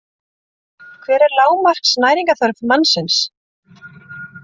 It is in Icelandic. Hver er lágmarks næringarþörf mannsins?